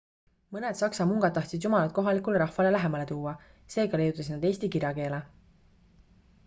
mõned saksa mungad tahtsid jumalat kohalikule rahvale lähemale tuua seega leiutasid nad eesti kirjakeele